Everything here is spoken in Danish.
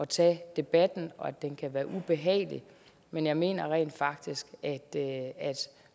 tage debatten og at den kan være ubehagelig men jeg mener rent faktisk at